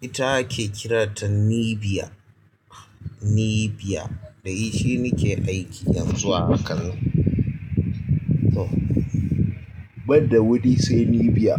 ita ake kiranta nibiya, nibiya. Da shi nike aiki yanzu a hakan. To, banda wani sai nibiya.